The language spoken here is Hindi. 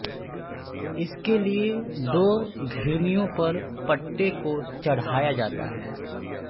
इसके लिए दो घिरनियों पर पट्टे को चढ़ाया जाता है